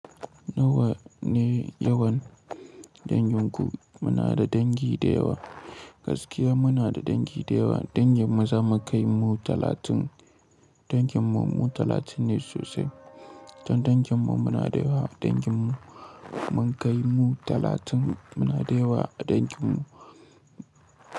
Nawa ne yawan danginku? Muna da dangi da yawa. Gaskiya muna da dangi da yawa. Danginmu za mu kai mu talatin. Danginmu mu talatin ne sosai. Don danginmu muna da yawa. Danginmu mun kai mu talatin. Muna da yawa a danginmu.